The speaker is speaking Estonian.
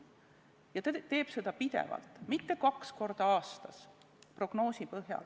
Ja ta teeb seda pidevalt, mitte kaks korda aastas prognoosi põhjal.